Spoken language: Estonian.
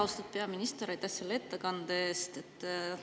Austatud peaminister, aitäh selle ettekande eest!